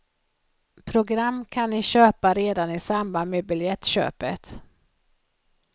Program kan ni köpa redan i samband med biljettköpet.